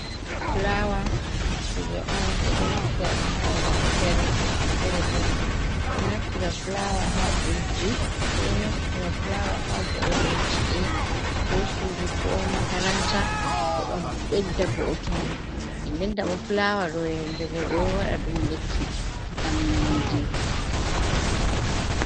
Flawa kuje on ɓe ɗo naftira ɗum ha babal fere-fere ɓe ɗo naftira flawa ha vo’ungo ci’e, ko sudu, ko makaranta heɓa ɓedda vo’utungo nden nden ta bo flawa ɗo yendego ɓe ɗo waɗa ɗum lekki ngam nyaundugo.